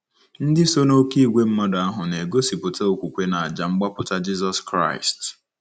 Ndị so n'oké ìgwè mmadụ ahụ na-egosipụta okwukwe n'àjà mgbapụta Jizọs Kraịst.